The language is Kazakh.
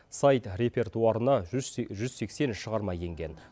сайт репертуарына жүз сексен шығарма енген